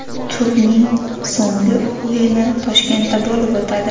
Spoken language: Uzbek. Turning so‘nggi o‘yini Toshkentda bo‘lib o‘tadi.